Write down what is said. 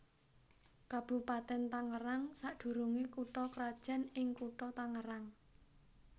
Kabupatèn Tangerang sadurungé kutha krajan ing Kutha Tangerang